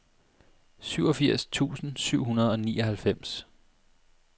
syvogfirs tusind syv hundrede og nioghalvfems